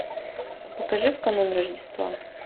покажи в канун рождества